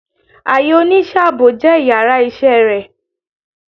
Aiyè onisẹ́ aabo jẹ íyarà iṣẹ re